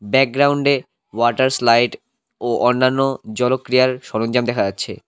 ব্যাকগ্রাউন্ডে water slide ও অন্যান্য জলক্রিয়ার সরঞ্জাম দেখা যাচ্ছে।